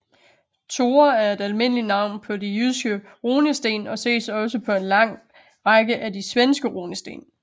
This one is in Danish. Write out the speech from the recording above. Thore er et almindeligt navn på de jyske runesten og ses også på en lang række af de svenske runesten